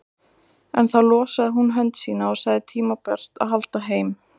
En þá losaði hún hönd sína og sagði tímabært að halda heim.